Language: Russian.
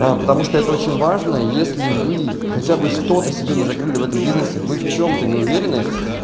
потому что это очень важно если вы хотя бы что-то себе не закрыли в этом бизнесе вы в чём-то не уверены